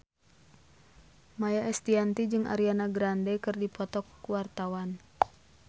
Maia Estianty jeung Ariana Grande keur dipoto ku wartawan